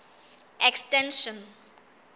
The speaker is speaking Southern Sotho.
extension